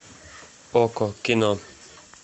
окко кино